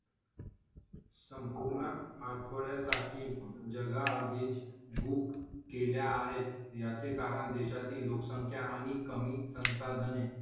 संपूर्ण आठवड्यासाठी जागा आधीच book केल्या आहेत. याचे कारण देशातील लोकसंख्या आणि कमी संसाधने.